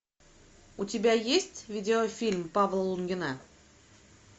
у тебя есть видеофильм павла лунгина